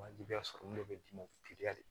Wajibiya sɔrɔ min bɛ d'i ma teliya de